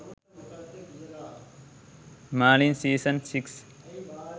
merlin season 6